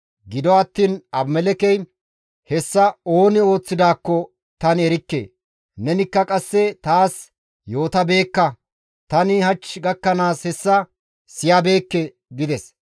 Gido attiin Abimelekkey, «Hessa ooni ooththidaakko tani erikke; nenikka qasse taas yootabeekka; tani hach gakkanaas hessa siyabeekke» gides.